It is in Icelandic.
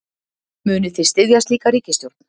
Munið þið styðja slíka ríkisstjórn?